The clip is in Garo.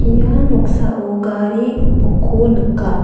ia noksao gari gipokko nika.